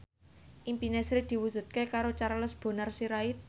impine Sri diwujudke karo Charles Bonar Sirait